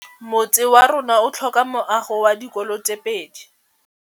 Motse warona o tlhoka meago ya dikolô tse pedi.